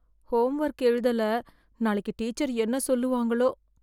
Home work எழுதல நாளைக்கு teacher என்ன சொல்லுவாங்களோ?